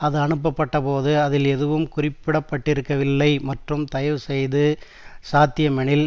அது அனுப்பப்பட்டபோது அதில் எதுவும் குறிப்பிடப்பட்டிருக்கவில்லை மற்றும் தயவு செய்து சாத்தியமெனில்